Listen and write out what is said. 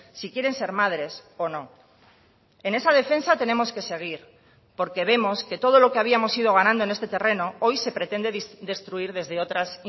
si quieren ser madres o no en esa defensa tenemos que seguir porque vemos que todo lo que habíamos ido ganando en este terreno hoy se pretende destruir desde otras